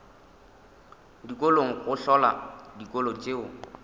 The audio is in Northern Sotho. dikolong go hlola dikolo tšeo